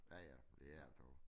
Ja ja det er sjovt